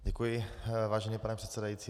Děkuji, vážený pane předsedající.